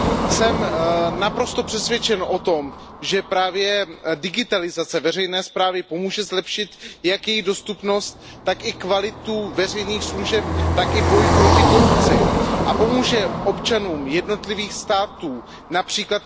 Jsem naprosto přesvědčen o tom, že právě digitalizace veřejné správy pomůže zlepšit jak její dostupnost, tak i kvalitu veřejných služeb, tak i boj proti korupci a pomůže občanům jednotlivých států, např.